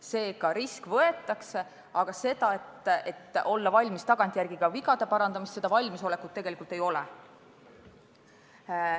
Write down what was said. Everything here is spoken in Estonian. Seega risk võetakse, aga valmisolekut tagantjärele vigu parandada tegelikult ei ole.